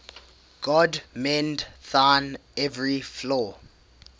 god mend thine every flaw